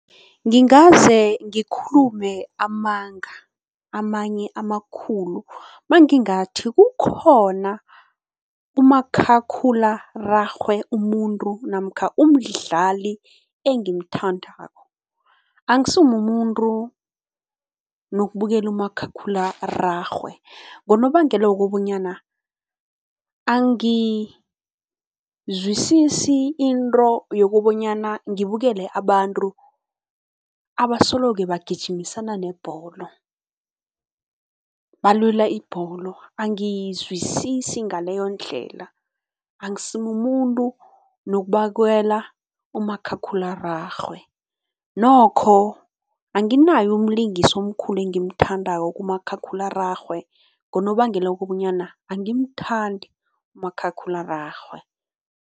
Ngingaze ngikhulume amanga, amanye amakhulu mangingathi kukhona umakhakhulararhwe umuntu namkha umdlali engimthandako. Angisimumuntu nokubukela umakhakhulararhwe ngonobangela wokobanyana angizisisi into yokobanyana ngibukele abantu abasoloke bagijimisana nebholo, balwela ibholo, angayizwisisi ngaleyondlela. Akusimumuntu nokubakela umakhakhulararhwe, nokho anginayo umlingisi omkhulu engimthandako kumakhakhulararhwe ngonobangela wokobanyana angimthandi umakhakhulararhwe.